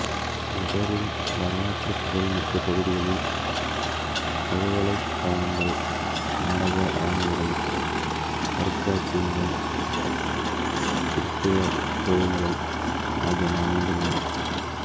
நகரின் வரலாற்றுப் புகழ் மிக்க பகுதிகளில் பல்கலைக்காகங்கள் நாடக அரங்குகள் அருங்காட்சியகங்கள் கிறித்தவக் கோவில்கள் ஆகியன அமைந்துள்ளன